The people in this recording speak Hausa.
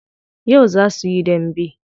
Yau zaa su yi dambe.